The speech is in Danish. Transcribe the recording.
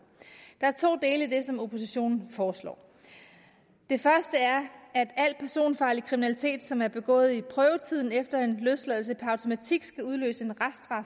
der er to dele i det som oppositionen foreslår det første er at al personfarlig kriminalitet som er begået i prøvetiden efter en løsladelse per automatik skal udløse